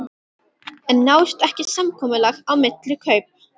En náist ekki samkomulag á milli kaup.